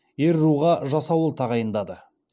ер руға жасауыл тағайындады